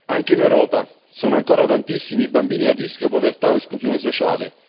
Anche in Europa sono ancora tantissimi i bambini a rischio povertà o esclusione sociale.